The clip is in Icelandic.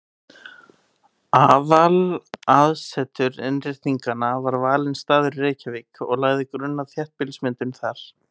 Aðalaðsetur Innréttinganna var valinn staður í Reykjavík og lagði grunn að þéttbýlismyndun þar.